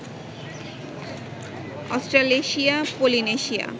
Australasia, Polynesia